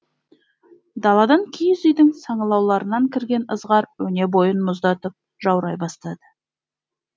даладан киіз үйдің саңылауларынан кірген ызғар өне бойын мұздатып жаурай бастады